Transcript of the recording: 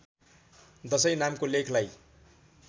दशैँ नामको लेखलाई